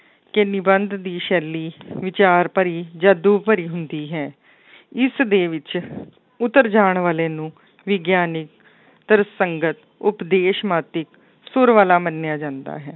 ਕਿ ਨਿਬੰਧ ਦੀ ਸ਼ੈਲੀ ਵਿਚਾਰ ਭਰੀ, ਜਾਦੂ ਭਰੀ ਹੁੰਦੀ ਹੈ ਇਸ ਦੇ ਵਿੱਚ ਉੱਤਰ ਜਾਣ ਵਾਲੇ ਨੂੰ ਵਿਗਿਆਨੀ, ਤਰਸੰਗਤ, ਉਪਦੇਸ਼ ਸੁਰ ਵਾਲਾ ਮੰਨਿਆ ਜਾਂਦਾ ਹੈ,